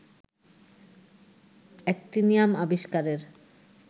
actinium আবিস্কারের